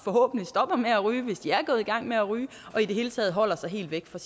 forhåbentlig stopper med at ryge hvis de er gået i gang med at ryge og i det hele taget holder sig helt væk fra